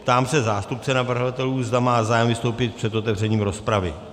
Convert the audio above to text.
Ptám se zástupce navrhovatelů, zda má zájem vystoupit před otevřením rozpravy.